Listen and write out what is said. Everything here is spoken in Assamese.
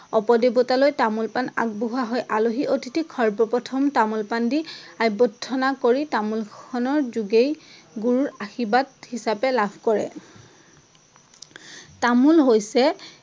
অপদেৱতালৈ তামোল পাণ আগবঢ়োৱা হয়। আলহী অতিথিক সৰ্বপ্ৰথম তামোল পাণ দি অভ্যৰ্থনা তামোল খনৰ যোগেই গুৰুৰ আশীৰ্বাদ হিচাপে লাভ কৰে। তামোল হৈছে